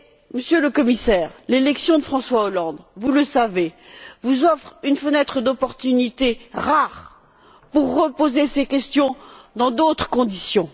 Monsieur le Commissaire, l'élection de François Hollande, vous le savez, vous offre une fenêtre d'opportunité rare pour reposer ces questions dans d'autres conditions.